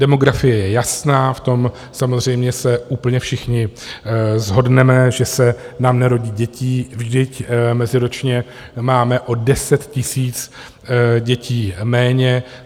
Demografie je jasná, v tom samozřejmě se úplně všichni shodneme, že se nám nerodí děti, vždyť meziročně máme o 10 000 dětí méně.